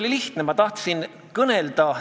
Aga siiski aitäh küsimuse eest!